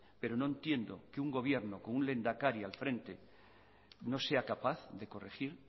pero no entiendo que un gobierno con un lehendakari al frente no sea capaz de corregir